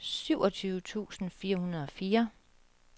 syvogtyve tusind fire hundrede og fire